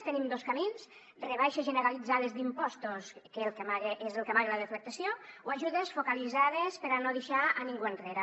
tenim dos camins rebaixes generalitzades d’impostos que és el que amaga la deflactació o ajudes focalitzades per a no deixar a ningú enrere